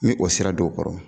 N ye o sira do u kɔrɔ